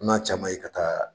N n. a caman ye ka taa